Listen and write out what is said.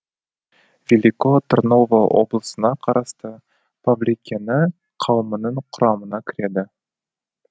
велико тырново облысына қарасты павликени қауымының құрамына кіреді